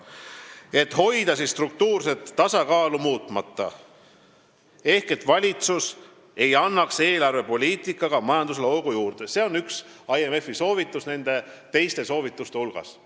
Tuleb hoida struktuurset tasakaalu muutmata ehk valitsus ei peaks andma eelarvepoliitikaga majandusele hoogu juurde – see on üks IMF-i soovitusi teiste soovituste hulgas.